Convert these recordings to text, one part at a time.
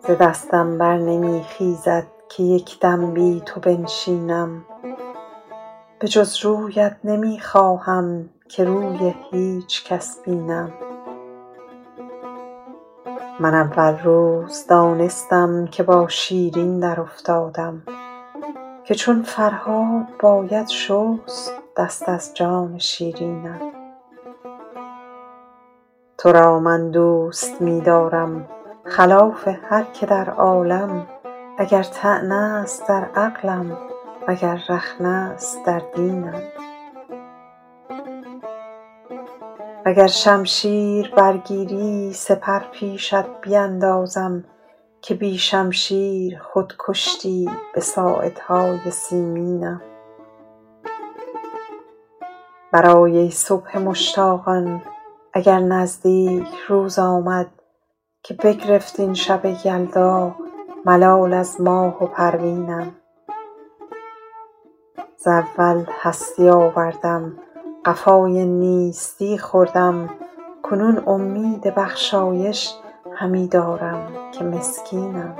ز دستم بر نمی خیزد که یک دم بی تو بنشینم به جز رویت نمی خواهم که روی هیچ کس بینم من اول روز دانستم که با شیرین درافتادم که چون فرهاد باید شست دست از جان شیرینم تو را من دوست می دارم خلاف هر که در عالم اگر طعنه است در عقلم اگر رخنه است در دینم و گر شمشیر برگیری سپر پیشت بیندازم که بی شمشیر خود کشتی به ساعدهای سیمینم برآی ای صبح مشتاقان اگر نزدیک روز آمد که بگرفت این شب یلدا ملال از ماه و پروینم ز اول هستی آوردم قفای نیستی خوردم کنون امید بخشایش همی دارم که مسکینم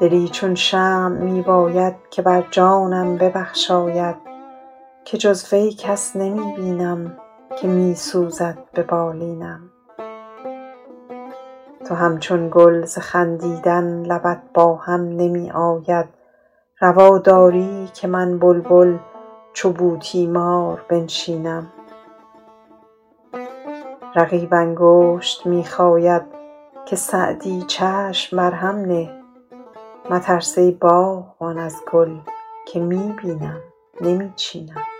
دلی چون شمع می باید که بر جانم ببخشاید که جز وی کس نمی بینم که می سوزد به بالینم تو همچون گل ز خندیدن لبت با هم نمی آید روا داری که من بلبل چو بوتیمار بنشینم رقیب انگشت می خاید که سعدی چشم بر هم نه مترس ای باغبان از گل که می بینم نمی چینم